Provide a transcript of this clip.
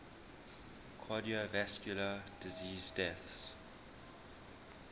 cardiovascular disease deaths